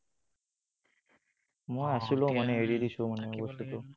মই আছিলো মানে এৰি দিছো মানে সেইটো।